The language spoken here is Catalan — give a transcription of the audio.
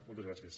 moltes gràcies